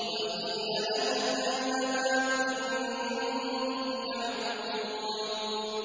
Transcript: وَقِيلَ لَهُمْ أَيْنَ مَا كُنتُمْ تَعْبُدُونَ